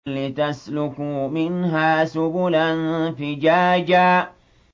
لِّتَسْلُكُوا مِنْهَا سُبُلًا فِجَاجًا